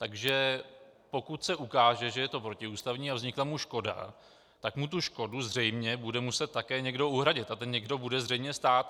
Takže pokud se ukáže, že je to protiústavní a vznikla mu škoda, tak mu tu škodu zřejmě bude muset také někdo uhradit a ten někdo bude zřejmě stát.